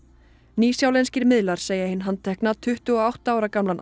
nýsjálenskir miðlar segja hinn handtekna tuttugu og átta ára gamlan